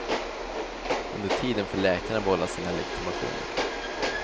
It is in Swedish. Under tiden får läkarna behålla sina legitimationer.